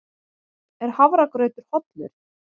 Er hafragrautur hollur?